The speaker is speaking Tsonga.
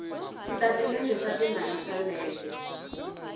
switatimende swa timali swa lembe